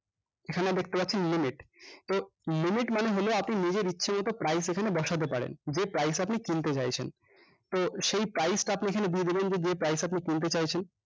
এখানে দেখতে পাচ্ছেন limit তো limit মানে হলো আপনি নিজের ইচ্ছা মতো price এখানে বসাতে পারেন যে price এ আপনি কিনতে চাইছেন তো সেই price টা আপনি এখানে দিয়ে দিবেন যে যে price এ আপনি কিনতে চাইছেন